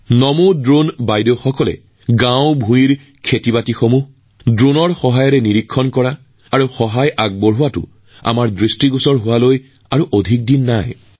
সেইদিন দূৰত নহয় যেতিয়া প্ৰতিখন গাঁৱৰ পথাৰত ড্ৰোনৰ জৰিয়তে খেতি কৰাত সহায় কৰা দেখা পাব নমো ড্ৰোন দিদিসকলক